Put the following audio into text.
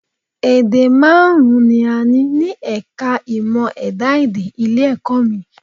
Èdè márùn-ún ni a ní ní ẹ̀ka è ìmọ̀ ẹ̀dá-èdè ilé-ẹ̀kọ́ mi